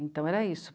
Então era isso.